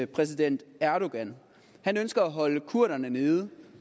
præsident erdogan han ønsker at holde kurderne nede